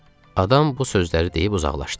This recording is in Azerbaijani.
Adam bu sözləri deyib uzaqlaşdı.